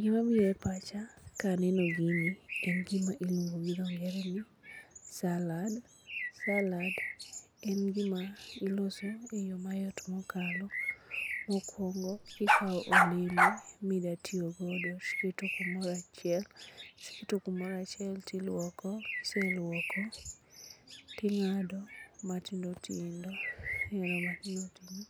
Gima biro e pacha kaneno gini en gima iluongo gi dho ngere ni salad. Salad en gima iloso e yo mayot mokalo. Mokwongo ikawo olembe mida tiyogodo tiketo kumoro achiel tilwoko, kiselwoko ting'ado matindotindo. Kiseng'ado matindotindo